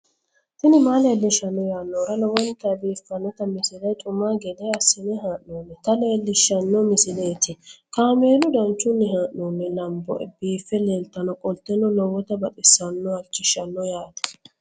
tini maa leelishshanno yaannohura lowonta biiffanota misile xuma gede assine haa'noonnita leellishshanno misileeti kaameru danchunni haa'noonni lamboe biiffe leeeltannoqolten lowonta baxissannoe halchishshanno yaate